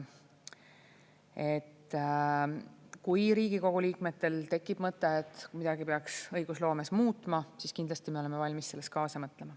Kui Riigikogu liikmetel tekib mõte, et midagi peaks õigusloomes muutma, siis kindlasti me oleme valmis selles kaasa mõtlema.